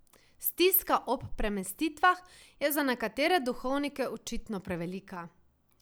Stiska ob premestitvah je za nekatere duhovnike očitno prevelika.